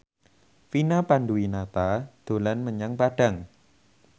Vina Panduwinata dolan menyang Padang